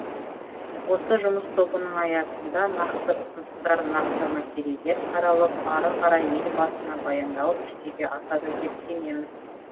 осы жұмыс тобының аясында нақты ұсыныстар нақты мәселелер қаралып ары қарай елбасына баяндалып жүзеге асады деп сенеміз